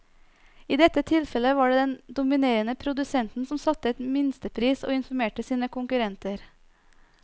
I dette tilfellet var det den dominerende produsenten som satte en minstepris og informerte sine konkurrenter.